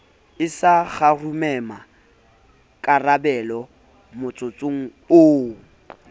a sa kgarumemmakarabelo motsotsong oo